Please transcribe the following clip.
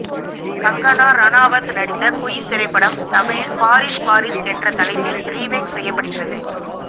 கங்கனா ரனாவத் நடித்த குயின் திரைப்படம் தமிழில் பாரீஸ் பாரீஸ் என்ற தலைப்பில் ரீமேக் செய்யப்படுகிறது